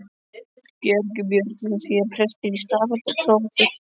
Bergur Björnsson, síðar prestur í Stafholti og prófastur.